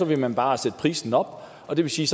vil man bare sætte prisen op og det vil sige